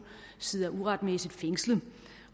sidder uretmæssigt fængslet